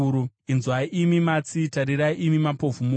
“Inzwai, imi matsi; tarirai, imi mapofu, muone!